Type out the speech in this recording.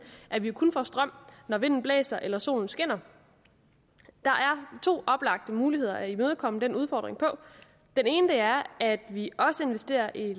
at vi kun får strøm når vinden blæser eller solen skinner der er to oplagte muligheder at imødekomme den udfordring på den ene er at vi også investerer i